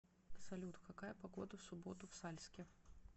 салют какая погода в субботу в сальске